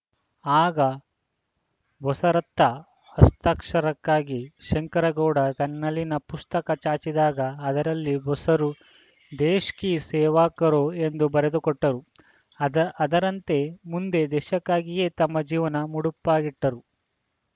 ಆಗ ಬೋಸರತ್ತ ಹಸ್ತಾಕ್ಷರಕ್ಕಾಗಿ ಶಂಕರಗೌಡ ತನ್ನಲ್ಲಿನ ಪುಸ್ತಕ ಚಾಚಿದಾಗ ಅದರಲ್ಲಿ ಬೋಸರು ದೇಶ್‌ ಕೀ ಸೇವಾ ಕರೋಎಂದು ಬರೆದುಕೊಟ್ಟರು ಅದ ಅದರಂತೆ ಮುಂದೆ ದೇಶಕ್ಕಾಗಿಯೇ ತಮ್ಮ ಜೀವನ ಮುಡುಪಾಗಿಟ್ಟರು